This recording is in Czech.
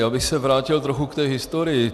Já bych se vrátil trochu k té historii.